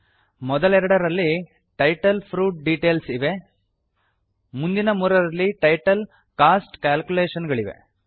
ಮೊದಲೆರಡರಲ್ಲಿ title fruit details ಇವೆ ಮುಂದಿನ ಮೂರರಲ್ಲಿ ಟೈಟಲ್ ಕಾಸ್ಟ್ ಕ್ಯಾಲ್ಕುಲೇಷನ್ ಗಳಿವೆ